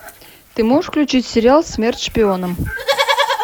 ты можешь включить сериал смерть шпионам